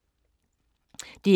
DR1